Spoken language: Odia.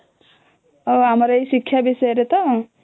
ଆମର ଏଇ ଶିକ୍ଷା ବିଷୟରେ ତ?